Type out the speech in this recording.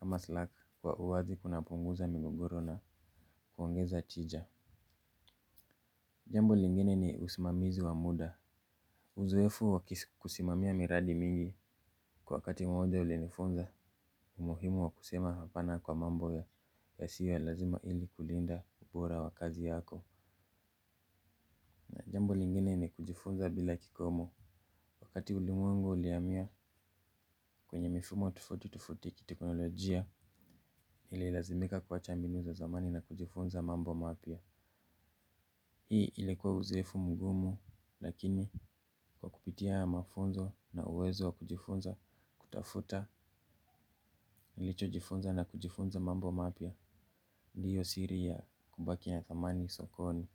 ama slack kwa uwazi kunapunguza mingogoro na kuongeza tija. Jambo lingine ni usimamizi wa muda. Uzoefu wa kusimamia miradi mingi kwa wakati mmoja ulinifunza umuhimu wa kusema hapana kwa mambo yasio ya lazima ili kulinda ubora wa kazi yako. Na jambo lingine ni kujifunza bila kikomo. Wakati ulimwengu ulihamia kwenye mifumo tofauti tofauti ya kiteknolojia, ililazimika kuwacha binu za zamani na kujifunza mambo mapya. Hii ilikuwa uzoefu mgumu lakini kwa kupitia haya mafunzo na uwezo wa kujifunza kutafuta. Nilichojifunza na kujifunza mambo mapya. Ndio siri ya kubaki ya thamani sokoni.